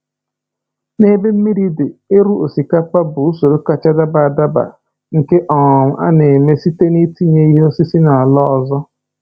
N’ebe mmiri dị, ịrụ osikapa bụ usoro kacha daba adaba nke um a na-eme site na-itinye ihe osisi n’ala ọzọ.